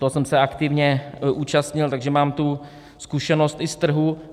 Toho jsem se aktivně účastnil, takže mám tu zkušenost i z trhu.